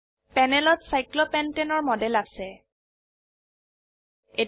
প্যানেলত cyclopentane cyclopentane এৰ model আছে